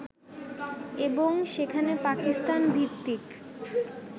এবং সেখানে পাকিস্তান ভিত্তিক